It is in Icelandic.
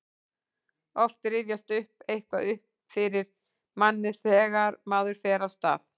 oft rifjast eitthvað upp fyrir manni þegar maður fer af stað